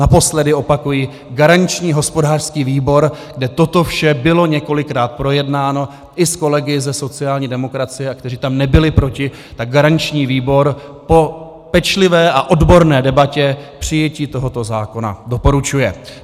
Naposled opakuji, garanční hospodářský výbor, kde toto vše bylo několikrát projednáno i s kolegy ze sociální demokracie a kteří tam nebyli proti, tak garanční výbor po pečlivé a odborné debatě přijetí tohoto zákona doporučuje.